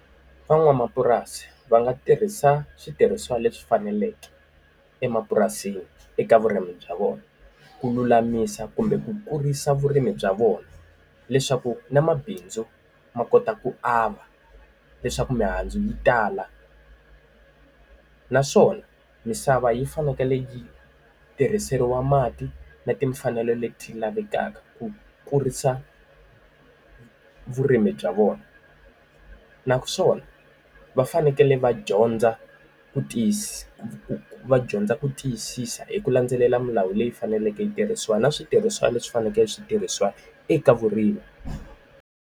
Van'wamapurasi va nga tirhisa switirhisiwa leswi faneleke emapurasini eka vurimi bya vona, ku lulamisa kumbe ku kurisa vurimi bya vona. Leswaku na mabindzu ma kota ku ava, leswaku mihandzu yi tala. Naswona misava yi fanekele yi tirhiseriwa mati na timfanelo leti lavekaka ku kurisa vurimi bya vona. Naswona va fanekele va dyondza ku tiyisi va dyondza ku tiyisisa hi ku landzelela milawu leyi faneleke yi tirhisiwa na switirhisiwa leswi fanekele switirhisiwa eka vurimi.